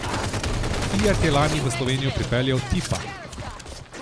Fiat je lani v Slovenijo pripeljal tipa.